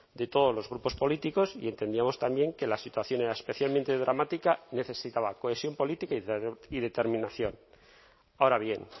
de todos los grupos políticos y entendíamos también que la situación era especialmente dramática necesitaba cohesión política y determinación ahora bien